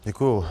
Děkuji.